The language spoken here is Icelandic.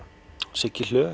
Siggi